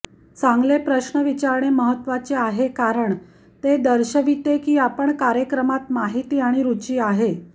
चांगले प्रश्न विचारणे महत्त्वाचे आहे कारण ते दर्शविते की आपण कार्यक्रमात माहिती आणि रूची आहे